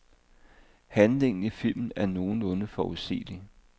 Handlingen i filmen er nogenlunde forudsigelig.